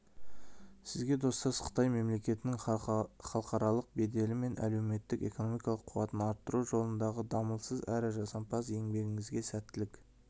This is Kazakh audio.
сізге достас қытай мемлекетінің халықаралық беделі мен әлеуметтік-экономикалық қуатын арттыру жолындағы дамылсыз әрі жасампаз еңбегіңізге сәттілік